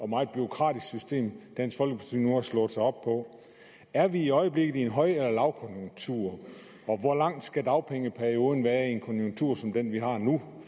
meget bureaukratisk system dansk folkeparti nu har slået sig op på er vi i øjeblikket i en høj eller lavkonjunktur og hvor lang skal dagpengeperioden være i en konjunktur som for eksempel den vi har nu